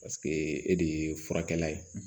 e de ye furakɛla ye